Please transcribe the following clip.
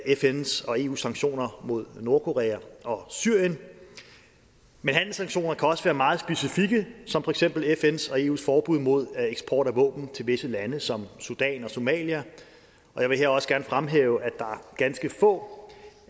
fns og eus sanktioner mod nordkorea og syrien men handelssanktioner kan også være meget specifikke som for eksempel fns og eus forbud mod eksport af våben til visse lande som sudan og somalia jeg vil her også gerne fremhæve at der er ganske få